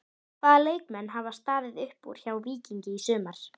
Það voru kalvínistarnir sem gerðu þessar ótrúlega fíngerðu myndir.